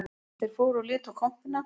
Þeir fóru og litu á kompuna